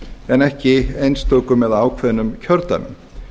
en ekki einstökum eða ákveðnum kjördæmum